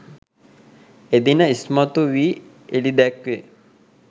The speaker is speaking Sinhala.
එදින ඉස්මතු වී එළිදැක්වේ.